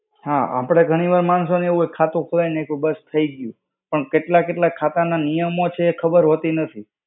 હા, આપણે માણસો ને ઘણી વાર એવું હોય કે ખાતું ખોલાવી નાખ્યું ને થઇ ગ્યું. પણ કેટલા કેટલા ખાતાના નિયમો છે એ ખબર હોતી નથી.